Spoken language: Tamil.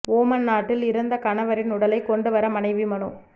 ஓமன் நாட்டில் இறந்த கணவரின் உடலை கொண்டு வர மனைவி மனு